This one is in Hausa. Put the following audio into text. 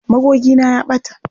Magogina ya ɓata.